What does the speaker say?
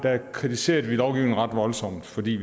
kritiserede vi lovgivningen ret voldsomt fordi